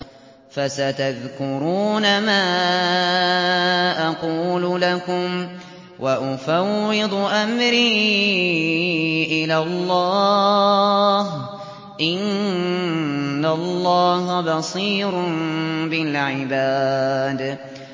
فَسَتَذْكُرُونَ مَا أَقُولُ لَكُمْ ۚ وَأُفَوِّضُ أَمْرِي إِلَى اللَّهِ ۚ إِنَّ اللَّهَ بَصِيرٌ بِالْعِبَادِ